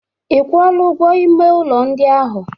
Ị kwụọla ụgwọ ime ụlọ ndị ahụ?